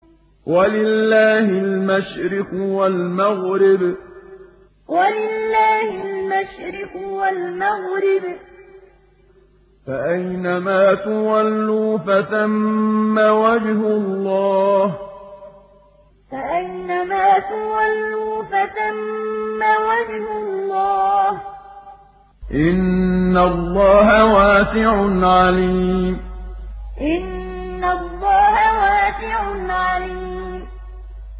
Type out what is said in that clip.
وَلِلَّهِ الْمَشْرِقُ وَالْمَغْرِبُ ۚ فَأَيْنَمَا تُوَلُّوا فَثَمَّ وَجْهُ اللَّهِ ۚ إِنَّ اللَّهَ وَاسِعٌ عَلِيمٌ وَلِلَّهِ الْمَشْرِقُ وَالْمَغْرِبُ ۚ فَأَيْنَمَا تُوَلُّوا فَثَمَّ وَجْهُ اللَّهِ ۚ إِنَّ اللَّهَ وَاسِعٌ عَلِيمٌ